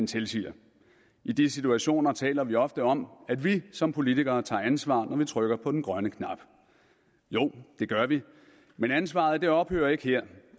tilsiger i de situationer taler vi ofte om at vi som politikere tager ansvar når vi trykker på den grønne knap jo det gør vi men ansvaret ophører ikke her